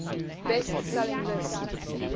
best selling list